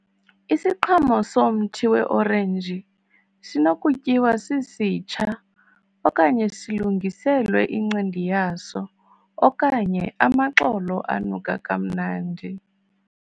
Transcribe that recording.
Isiqhamo somthi we-orenji sinokutyiwa sisitsha, okanye silungiselwe incindi yaso okanye amaxolo anuka kamnandi.